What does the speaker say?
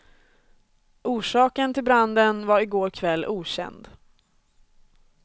Orsaken till branden var igår kväll okänd.